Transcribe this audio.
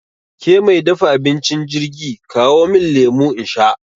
Ke mai dafa abincin jirgi, kawo min lemu in sha!